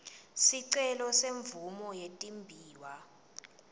sicelo semvumo yetimbiwa